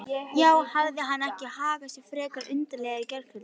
Já, hafði hann ekki hagað sér frekar undarlega í gærkvöld?